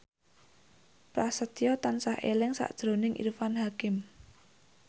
Prasetyo tansah eling sakjroning Irfan Hakim